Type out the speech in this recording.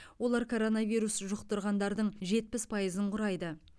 олар коронавирус жұқтырғандардың жетпіс пайызын құрайды